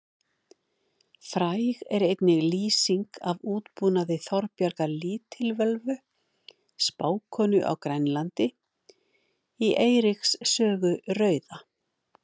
Fræg er einnig lýsing af útbúnaði Þorbjargar lítilvölvu spákonu á Grænlandi í Eiríks sögu rauða.